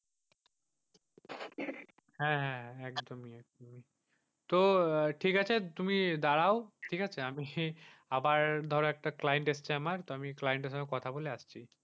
হ্যাঁ হ্যাঁ হ্যাঁ একদমি। তো ঠিক আছে তুমি দাঁড়াও ঠিক আছে আমি সেই আমার ধর একটা client এসছে আমার। আমি client এর সঙ্গে কথা বলে আসচ্ছি।